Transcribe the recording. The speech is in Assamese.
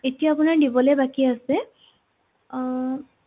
এতিয়া আপোনাৰ দিবলে বাকী আছে আহ